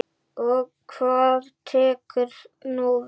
Og hvað tekur nú við?